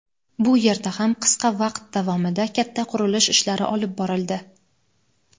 Bu yerda ham qisqa vaqt davomida katta qurilish ishlari olib borildi.